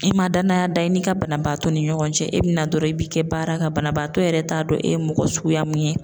I man danaya da i n'i ka banabaatɔ ni ɲɔgɔn cɛ e bɛ na dɔrɔn i b'i kɛ baara kan banabaatɔ yɛrɛ t'a dɔn e ye mɔgɔ suguya mun ye.